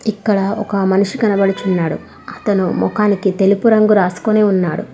ఇక్కడ ఒక మనిషి కనడుచున్నాడు అతను మోకానికి తెలుపు రంగు రాసుకుని ఉన్నాడు.